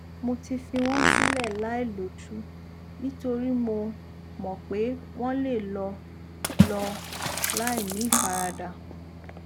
mo ti fi wọn sílẹ láìlójú nítorí mo mọ pé wọn lè lọ lọ láìní ìfaradà